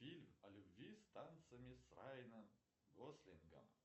фильм о любви с танцами с райаном гослингом